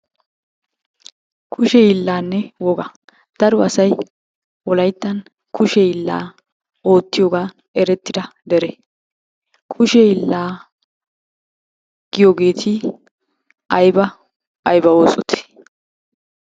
Kushe hiillaanne wogaa. Daro asay wolayittan kushe hiillaa oottiyogan erettida dere. Kushe hiillaa giyogeeti ayiba ayiba oosotee?